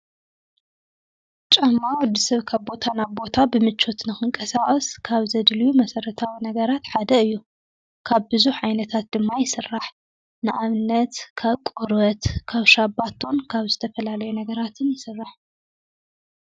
ጨማ ወዲ ሰብ ካብቦታ ናብ ቦታ ብምቾትን ኽንቀሣኦስ ካብ ዘድልዩ መሠረታዊ ነገራት ሓደ እዮ ካብ ብዙሕ ዓይነታት ድማ ይሥራሕ ንኣብነት ካብቆረበት ካብ ሻባቶን ካብ ዝተፈላለዮ ነገራትን ይሥራሕ